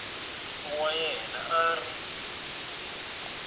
wa yena a a ri